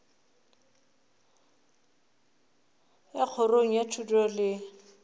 ya kgorong ya thuto le